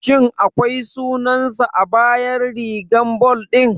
Shin akwai sunansa a bayan rigar ball ɗin?